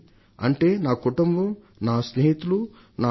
అంటే నా కుటుంబం నా స్నేహితులు నా టీచర్